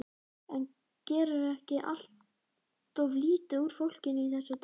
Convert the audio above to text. En gerirðu ekki alltof lítið úr fólkinu í þessu dæmi?